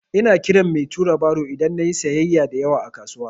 Ina kiran mai tura baro idan na yi sayyaya da yawa a kasuwa.